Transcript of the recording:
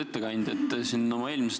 Lugupeetud ettekandja!